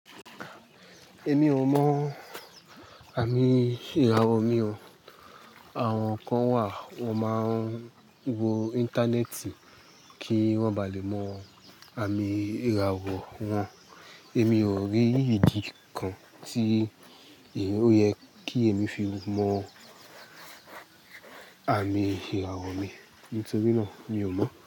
Èmi ò mọ àmì ìràwọ̀ mi o. Àwọn kan wà, wọ́n máa ń wo íńtánẹ́ẹ̀tì kí wọ́n ba lè mọ àmì ìràwọ̀ wọn. Èmi ò rí ìdí kan tí ó yẹ kí èmi fi mọ àmì ìràwọ̀ mi, nítorí náà ni ò mọ̀